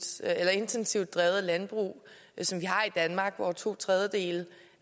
så intensivt drevet landbrug som vi har i danmark hvor to tredjedele